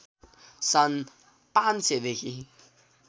सन् ५०० देखि